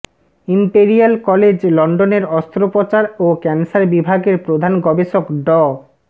imperial College লন্ডনের অস্ত্রোপচার ও ক্যান্সার বিভাগের প্রধান গবেষক ড